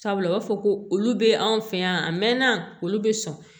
Sabula u b'a fɔ ko olu bɛ anw fɛ yan a mɛnna olu bɛ sɔn